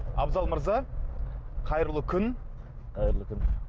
абзал мырза қайырлы күн қайырлы күн